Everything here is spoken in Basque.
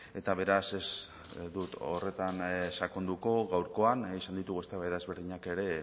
eta beraz ez dut horretan sakonduko gaurkoan izan ditugu eztabaida ezberdinak ere